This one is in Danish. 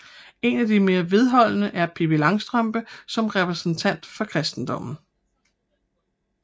En af de mere vedholdende er Pippi Langstrømpe som repræsentant for kristendommen